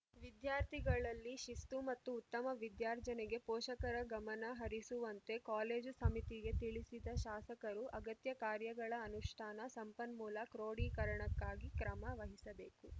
ವಿದ್ಯಾರ್ಥಿಗಳಲ್ಲಿ ಶಿಸ್ತು ಮತ್ತು ಉತ್ತಮ ವಿದ್ಯಾರ್ಜನೆಗೆ ಪೋಷಕರ ಗಮನ ಹರಿಸುವಂತೆ ಕಾಲೇಜು ಸಮಿತಿಗೆ ತಿಳಿಸಿದ ಶಾಸಕರು ಅಗತ್ಯ ಕಾರ್ಯಗಳ ಅನುಷ್ಠಾನ ಸಂಪನ್ಮೂಲ ಕ್ರೋಢೀಕರಣಕ್ಕಾಗಿ ಕ್ರಮ ವಹಿಸಬೇಕು